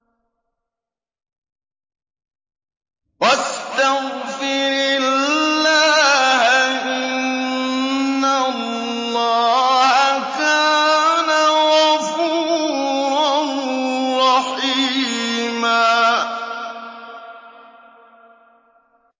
وَاسْتَغْفِرِ اللَّهَ ۖ إِنَّ اللَّهَ كَانَ غَفُورًا رَّحِيمًا